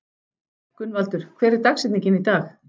Gunnvaldur, hver er dagsetningin í dag?